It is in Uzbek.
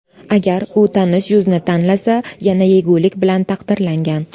Agar u tanish yuzni tanlasa, yana yegulik bilan taqdirlangan.